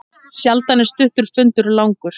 Sjaldan er stuttur fundur langur.